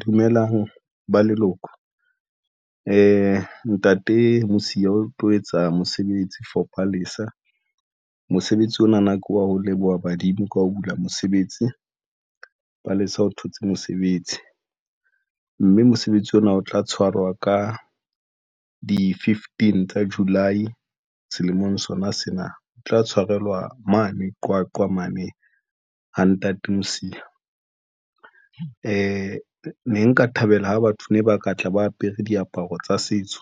Dumelang ba leloko e Ntate Mosia o tlo etsa mosebetsi for Palesa mosebetsi ona na ke wa ho leboha badimo ka ho bula mosebetsi ba le sa o thotse mosebetsi mme mosebetsi ona o tla tshwarwa ka di fifteen tsa July selemong sona sena o tla tshwarelwa mane Qwaqwa mane. Ha Nntate Mosia e ne nka thabela ho batho, ne ba ka tla ba apere diaparo tsa setso